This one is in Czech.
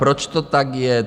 Proč to tak je?